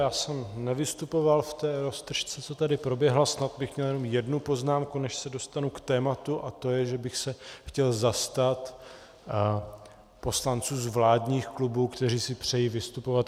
Já jsem nevystupoval v té roztržce, co tady proběhla, snad bych měl jenom jednu poznámku, než se dostanu k tématu, a to je, že bych se chtěl zastat poslanců z vládních klubů, kteří si přejí vystupovat.